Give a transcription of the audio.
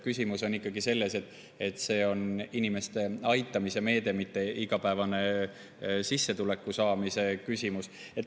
Küsimus on ikkagi selles, et see on inimeste aitamise meede, mitte igapäevase sissetuleku saamise küsimus.